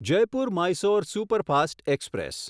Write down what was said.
Jaipur Mysore superfast express